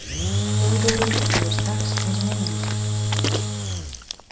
Theodóru líður strax eins og heima hjá sér.